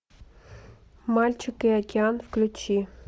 мальчик и океан включи